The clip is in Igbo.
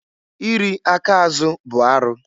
I ri aka azụ bụ arụ.